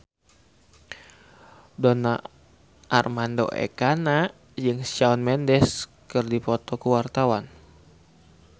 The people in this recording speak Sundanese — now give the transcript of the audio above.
Donar Armando Ekana jeung Shawn Mendes keur dipoto ku wartawan